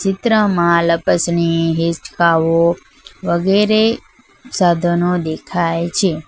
ચિત્રમાં લપસ ની હીચકાઓ વગેરે સાધનો દેખાય છે.